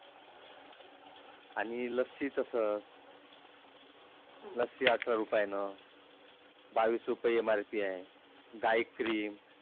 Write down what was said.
आणि लस्सी तसंच लस्सी अठरा रुपयान बावीस रूपये MRP आहे. गाय Cream